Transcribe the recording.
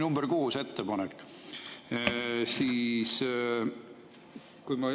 See oli ettepanek nr 6.